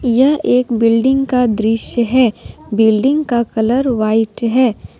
यह एक बिल्डिंग का दृश्य है बिल्डिंग का कलर व्हाइट है।